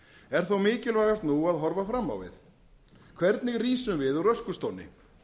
er þó mikilvægast nú að horfa fram á við hvernig rísum við úr öskustónni